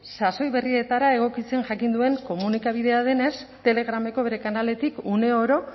sasoi berrietara egokitzen jakin duen komunikabidea denez telegrameko bere kanaletik une oro